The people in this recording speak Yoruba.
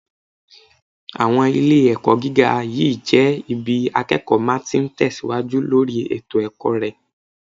Àwọn ilé-ẹ̀kọ́ gíga yìí jẹ́ ibi akẹ́kọ̀ọ́ ma ti ń tẹ̀síwájú lórí ètò ẹ̀kọ́ rẹ̀